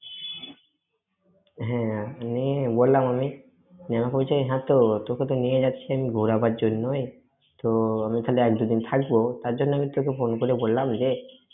হ্যাঁ, বললাম, আমি, ও আমাকে বলছে, হ্যাঁ, তো~ তোকে তো নিয়ে যাচ্ছি আমি ঘোরাবার জন্যই। তো আমি ওখানে এক-দু দিন থাকব, তার জন্য আমি তোকে phone করে বললাম যে,